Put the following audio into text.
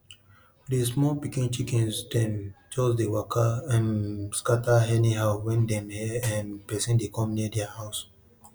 di small pikin chickens dem just dey waka um scatter anyhow when dem hear um person dey come come near dia house